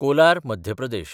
Kolar (Madhya Pradesh)